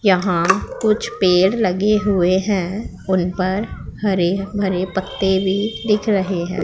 यहां कुछ पेड़ लगे हुए हैं उन पर हरे भरे पत्ते भी दिख रहे हैं।